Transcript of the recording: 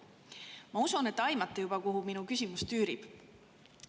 Ma usun, et te juba aimate, kuhu minu küsimus tüürib.